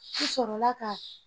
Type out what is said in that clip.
N sɔrɔla ka